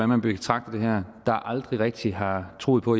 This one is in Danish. man betragter det her der aldrig rigtig har troet på